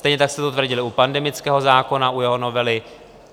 Stejně tak jste to tvrdili u pandemického zákona, u jeho novely.